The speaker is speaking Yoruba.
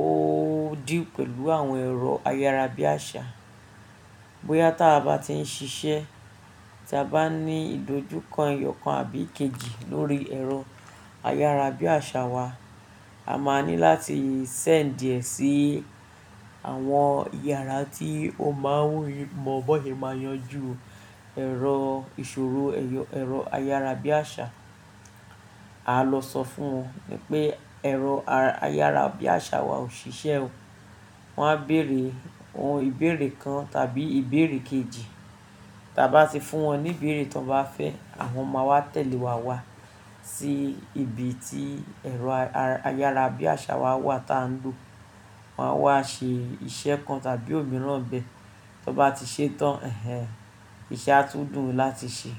ó deal pẹ̀lú àwọn ẹ̀rọ ayárabíàṣà. Bóyá tí a bá ti ń ṣiṣẹ́, tí a bá ní ìdojúko, eyọ̀kan àbí èkejì lórí ẹ̀rọ ayárabíàṣà wa, a máa ní láti sẹ́ǹdìẹ̀ sí àwọn yàrá tí ó máa ń mọ̀ bọ́n sè máa yanjú ẹ̀rọ ìṣòro ẹ̀rọ ayárabíàṣà. A lọ sọ fún wọn wípé ẹ̀rọ ayárabíàṣà wa ò ṣiṣẹ́ o. Wọn á bèèrè ohun ìbéèrè kan tàbí ìbéèrè kejì. Tí a bá ti fún wọn ní ìbéèrè tí wọ́n bá fẹ́, àwọn máa wá tẹ̀lé wa wá sí ibi tí ẹ̀rọ ayárabíàṣà wa wà tí a ń lò. Wọn á wá ṣe iṣẹ́ kan tàbí òmíràn bẹ́ẹ̀. Tí wọ́n bá ti ṣétán, ẹhẹhn iṣẹ́ á tún dùn láti ṣe.